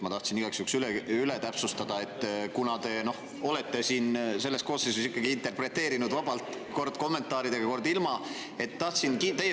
Ma tahan igaks juhuks täpsustust, kuna te olete selles koosseisus ikkagi interpreteerinud vabalt, kord kommentaaridega, kord ilma.